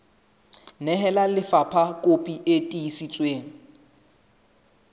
nehela lefapha kopi e tiiseditsweng